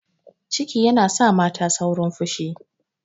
Ciki yana sa mata saurin fushi.